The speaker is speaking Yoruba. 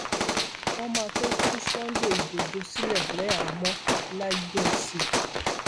wọn máa tóó tú sunday igbodò sílẹ lẹhàámọọlàjẹǹsì